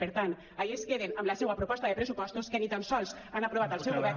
per tant allí es queden amb la seua proposta de pressupostos que ni tan sols ha aprovat el seu govern